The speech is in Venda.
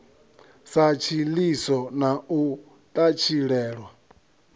sa tshiḽiso na u ṱatshilelwa